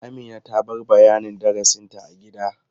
Amina ta bar bayanin darasinta a gida.